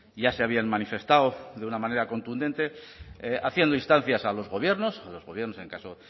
ya se habían manifestado de una manera contundente haciendo instancias a los gobiernos a los gobiernos en el caso